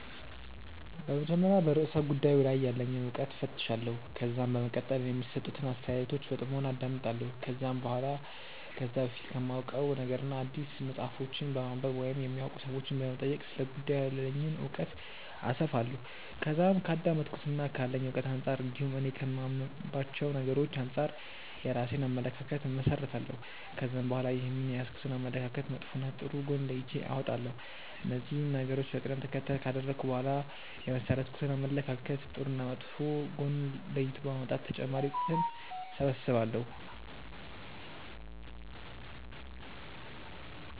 በመጀመሪያ በርእሰ ጉዳዩ ላይ ያለኝን እውቀት እፈትሻለሁ። ከዛም በመቀጠል የሚሰጡትን አስተያየቶች በጥሞና አዳምጣለሁ። ከዛም በኋላ ከዚህ በፊት ከማውቀው ነገርና አዲስ መጽሐፎችን በማንበብ ወይም የሚያውቁ ሰዎችንም በመጠየቅ ስለ ጉዳዩ ያለኝን እውቀት አሰፋለሁ። ከዛም ከአዳመጥኩትና ካለኝ እውቀት አንጻር እንዲሁም እኔ ከማምንባቸው ነገሮች አንጻር የራሴን አመለካከት እመሠረታለሁ። ከዛም በኋላ ይህንን የያዝኩትን አመለካከት መጥፎና ጥሩ ጎን ለይቼ አወጣለሁ። እነዚህን ነገሮች በቀደም ተከተል ካደረኩ በኋላ የመሠረትኩትን አመለካከት ጥሩና መጥፎ ጎን ለይቶ በማውጣት ተጨማሪ እውቀትን እሰበስባለሁ።